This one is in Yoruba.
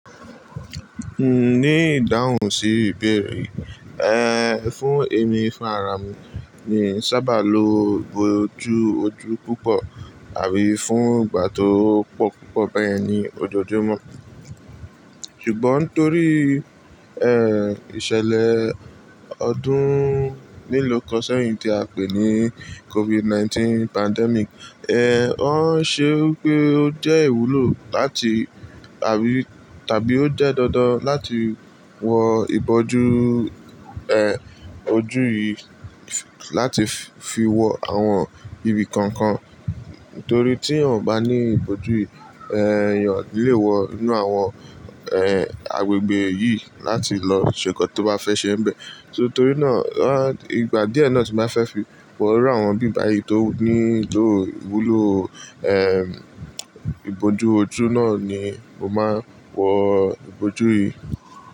Ní ìdáhùn sí ìbéèrè yìí, ẹ́ fún èmi fún ara mi, mii n sábà lo ìbòjú ojú púpọ̀ àbí fún ìgbà tó pọ̀ púpọ̀ báyẹn ní ojoojúmọ́. Ṣùgbọ́n torí ẹ́ ìṣẹ̀lẹ̀ ọdún lílo kan sẹ́yìn tí a pè ní COVID-19 pandemic, ẹ́ ó ṣe pé ó jẹ́ ìwúlò láti àbí tàbí ó jẹ́ dandan láti wọ ìbòjú ẹ́ ojú yìí láti fi wọ àwọn ibi kọ̀ọ̀kan. Nítorí tí a ò bá ní ìbòjú yìí, ẹ́ ènìyàn o nilè wọ inú àwọn ẹ́ agbègbè yìí láti lọ ṣe ǹkan tó bá fẹ́ ṣe ń bẹ. So torí náà, à ìgbà díẹ̀ náà tí mo bá fẹ́ fi wọ inú àwọn ibi báyìí tó nílò ìwúlò ẹ́ ìbòjú ojú náà ni mo máa ń wọ ìbòjú yìí.